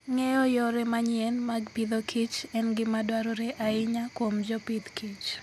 Ng'eyo yore manyien mag Agriculture and Food en gima dwarore ahinya kuom jopith kich.